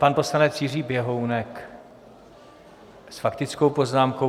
Pan poslanec Jiří Běhounek s faktickou poznámkou.